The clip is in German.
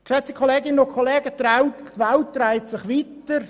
Geschätzte Kolleginnen und Kollegen, die Welt dreht sich weiter.